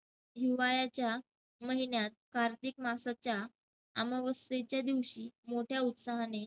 हिवाळ्याच्या महिन्यात कार्तिक मांसाच्या अमावस्येच्या दिवशी मोठ्या उत्साहाने